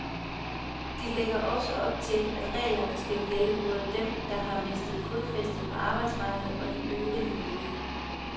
De lægger også op til, at reglerne skal gælde både dem, der har mistet fodfæstet på arbejdsmarkedet, og de øvrige ledige.